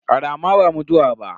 Rama ba mutuwa ba.